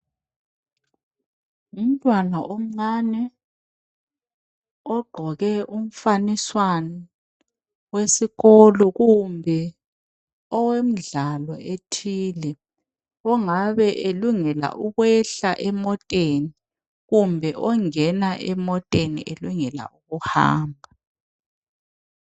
Ngumntwana omncani ogqoke umfaniswani wesikolo .Kumbe owemidlalo ethile , ongabe elungela ukwehla emoteni. Kumbe ongena emoteni elungela ukuhamba.